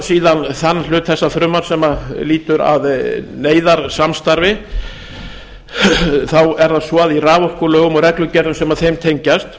síðan þann hluta þessa frumvarps sem lýtur að neyðarsamstarfi er það svo að í raforkulögum og reglugerðum sem þeim tengjast